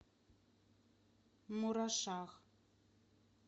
мурашах